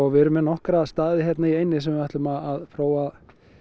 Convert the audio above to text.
við erum með nokkra staði hérna í eyjunni þar sem við ætlum að